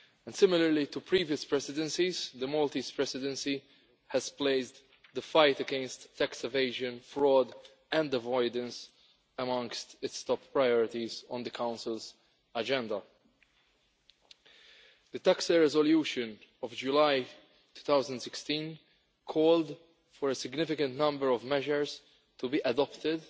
Similarly to previous Presidencies, the Maltese Presidency has placed the fight against tax evasion, fraud and avoidance among its top priorities on the Council's agenda. The TAXE resolution of July 2016 called for a significant number of measures to be adopted